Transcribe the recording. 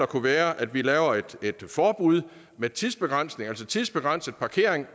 kunne være at vi laver et forbud med tidsbegrænsning altså tidsbegrænset parkering